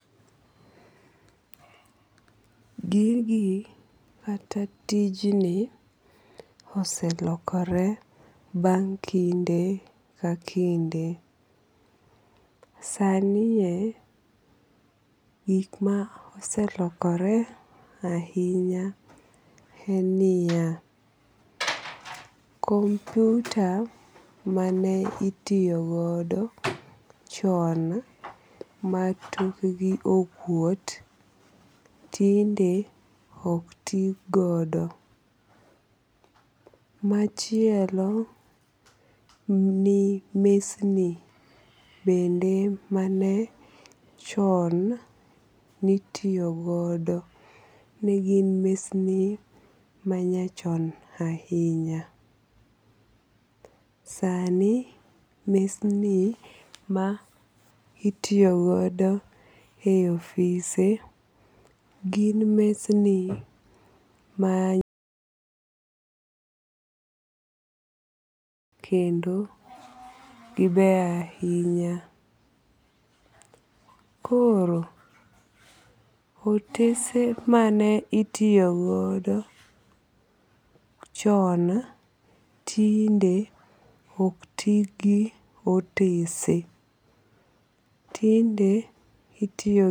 Gigi kata tijni oselokore bang' kinde ka kinge. Sanie gik ma oselokore ahinya en niya, kumpyuta mane itiyogodo chon ma tok gi okuot tinde ok ti godo. Machielo ni mesni bende mane chon nitiyo godo negin mesni manyachon ahinya. Sani mesni ma itiyogodo en ofise gin mesni ma kendo gibeyo ahinya. Koro otese mane itiyo godo chon tinde ok ti gi otese. Tinde itiyo